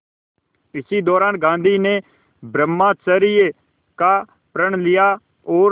इसी दौरान गांधी ने ब्रह्मचर्य का प्रण लिया और